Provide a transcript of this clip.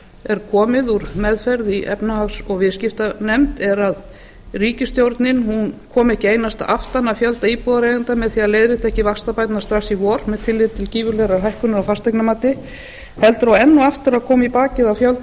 er komið úr meðferð í efnahags og viðskiptanefnd er að ríkisstjórnin kom ekki einungis aftan að fjölda íbúðareigenda með því að leiðrétta ekki vaxtabæturnar strax í vor með tilliti til gífurlegrar hækkunar á fasteignamati heldur og enn og aftur að koma í bakið á fjölda